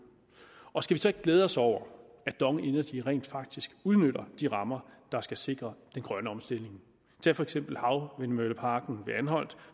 og skal vi så ikke glæde os over at dong energy rent faktisk udnytter de rammer der skal sikre den grønne omstilling tag for eksempel havvindmølleparken ved anholt